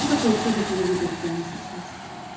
и какое чудо ты увидел прямо сейчас